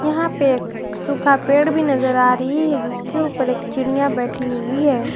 यहां पे सूखा पेड़ भी नजर आ रही है जिसके ऊपर एक चिड़ियां बैठी हुई है।